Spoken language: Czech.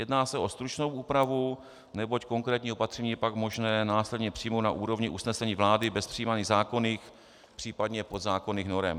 Jedná se o stručnou úpravu, neboť konkrétní opatření je pak možné následně přijmout na úrovni usnesení vlády bez přijímání zákonných případně podzákonných norem.